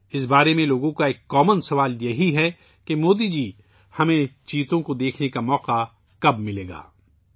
اس بارے میں لوگوں کا ایک عام سوال ہے کہ مودی جی، ہمیں چیتا دیکھنے کا موقع کب ملے گا؟